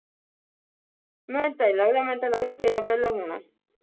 ਮੈਨੂੰ ਤਾਂ ਨੀ ਲੱਗਦਾ ਮੈਨੂੰ ਤਾਂ ਲੱਗਦਾ ਤੇਰਾ ਪਹਿਲਾਂ ਹੋਣਾ